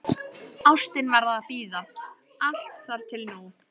Ástin varð að bíða, allt þar til nú.